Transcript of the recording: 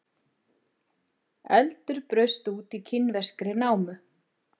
Eldur braust út í kínverskri námu